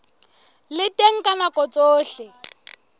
le teng ka nako tsohle